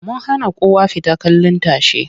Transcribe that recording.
Mun hana kowa fita kallin tashe.